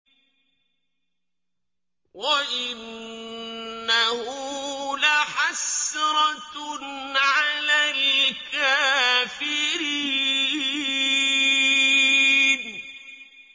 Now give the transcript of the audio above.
وَإِنَّهُ لَحَسْرَةٌ عَلَى الْكَافِرِينَ